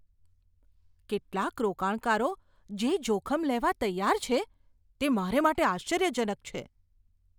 કેટલાક રોકાણકારો જે જોખમ લેવા તૈયાર છે, તે મારા માટે આશ્ચર્યજનક છે.